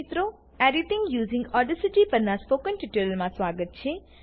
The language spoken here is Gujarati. એડિટિંગ યુઝિંગ ઓડાસિટી પરનાં ટ્યુટોરીયલમાં સ્વાગત છે